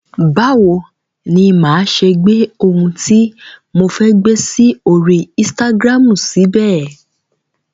Báwo ni máa ṣe gbé ohun tí mo fẹ́ gbé sí orí insitagiramu síbẹ̀?